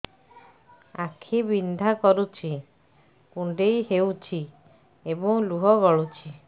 ଆଖି ବିନ୍ଧା କରୁଛି କୁଣ୍ଡେଇ ହେଉଛି ଏବଂ ଲୁହ ଗଳୁଛି